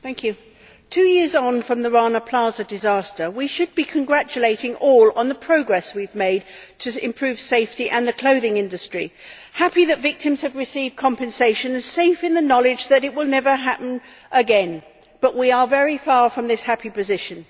Madam President, two years on from the Rana Plaza disaster, we should be congratulating all on the progress we have made to improve safety in the clothing industry, happy that victims have received compensation and safe in the knowledge that it will never happen again but we are very far from this happy position.